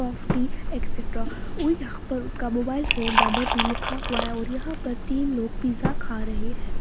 At cetera और यहाँ पर उनका मोबाइल फोन नंबर भी लिखा हुआ है और यहाँ पर तीन लोग पिज़्ज़ा खा रहे हैं।